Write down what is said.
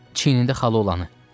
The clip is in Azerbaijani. Çiyinində xalı olanı.